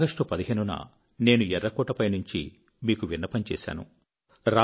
15 ఆగస్టున నేను ఎఱ్ఱకోట పైనుంచి మీకు విన్నపం చేశాను